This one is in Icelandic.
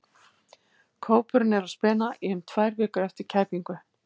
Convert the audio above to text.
Kópurinn er á spena í um tvær vikur eftir kæpingu.